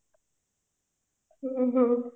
ଓ ହୋ